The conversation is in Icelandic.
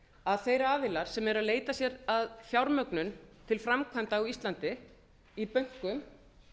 að þeir aðilar sem eru að leita sér að fjármögnun til framkvæmda á íslandi í bönkum